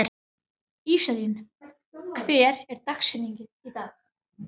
Íselín, hver er dagsetningin í dag?